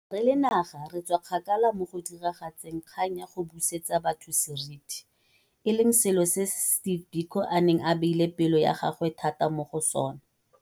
Re le naga re tswa kgakala mo go diragatseng kgang ya go busetsa batho seriti, e leng selo se Steve Biko a neng a beile pelo ya gagwe thata mo go sona.